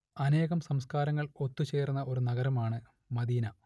അനേകം സംസ്കാരങ്ങൾ ഒത്തുചേർന്ന ഒരു നഗരമാണ് മദീന